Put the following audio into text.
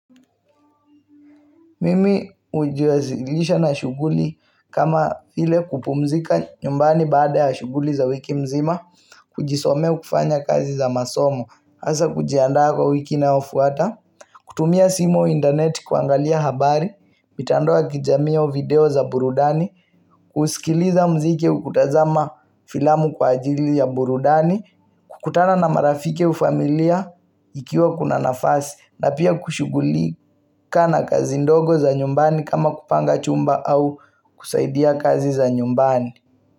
Mimi ujiwazilisha na shuguli kama file kupumzika nyumbani baada ya shuguli za wiki mzima kujisomea ukifanya kazi za masomo, hasa kujiandaa kwa wiki inaofuata kutumia simu au internet kuangalia habari, mitandao kijamii au video za burudani kusikiliza mziki au kutazama filamu kwa ajili ya burudani kukutana na marafike au familia ikiwa kuna nafasi na pia kushugulika na kazi ndogo za nyumbani kama kupanga chumba au kusaidia kazi za nyumbani.